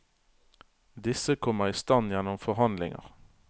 Disse kommer i stand gjennom forhandlinger.